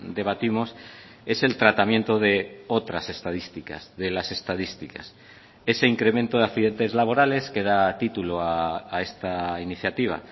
debatimos es el tratamiento de otras estadísticas de las estadísticas ese incremento de accidentes laborales que da título a esta iniciativa